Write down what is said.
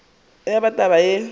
ya ba taba yeo e